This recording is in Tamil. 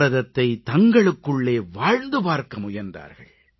பாரதத்தை தங்களுக்குள்ளே வாழ்ந்து பார்க்க முயன்றார்கள்